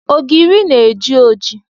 Ogiri na-eji oji